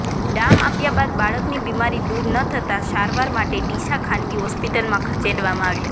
ડામ આપ્યા બાદ બાળકની બીમારી દૂર ન થતા સારવાર માટે ડીસા ખાનગી હોસ્પિટલમાં ખસેડવામાં આવ્યો